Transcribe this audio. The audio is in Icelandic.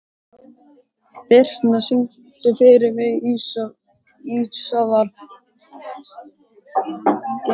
Birtna, syngdu fyrir mig „Ísaðar Gellur“.